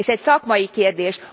És egy szakmai kérdés.